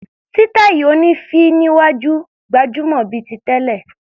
Sítáì oní féé níwájú ṣì gbajúmọ̀ bíi ti tẹ́lẹ̀.